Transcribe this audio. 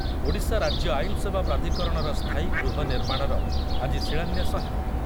ଓଡ଼ିଶା ରାଜ୍ୟ ଆଇନସେବା ପ୍ରାଧିକରଣର ସ୍ଥାୟୀ ଗୃହ ନିର୍ମାଣର ଆଜି ଶିଳାନ୍ୟାସ ହେବ ।